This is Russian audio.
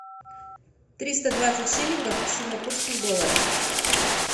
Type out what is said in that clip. триста двадцать шиллингов в сингапурских долларах